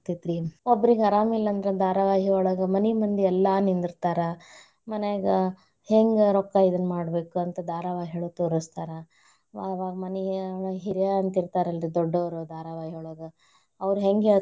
ಆಗ್ತೇತ್ರಿ, ಒಬ್ರ್ಗೆ ಅರಾಮಿಲ್ಲಾಂದ್ರ ಧಾರಾವಾಹಿಯೊಳಗ ಮನಿ ಮಂದಿ ಎಲ್ಲಾ ನಿಂದರ್ತಾರ. ಮನ್ಯಾಗ ಹೆಂಗ ರೊಕ್ಕಾ ಇದ್ನ ಮಾಡ್ಬೇಕಂತ ಧಾರಾವಾಹಿಯೊಳಗ ತೋರಸ್ತಾರ. ಅವಾಗ ಮನ್ಯಾಗ ಹಿರ್ಯಾರು ಅಂತ ಇರ್ತಾರಲ್ರಿ ದೊಡ್ಡೋರು ಧಾರಾವಾಹಿಯೊಳ್ಗ, ಅವ್ರ ಹೆಂಗ್.